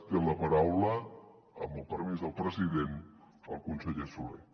té la paraula amb el permís del president el conseller solé